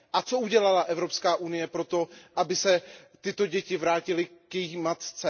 A co udělala Evropská unie pro to, aby se tyto děti vrátily k jejich matce?